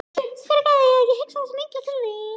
Fyrirgefðu að ég hugsa svona illa til þín.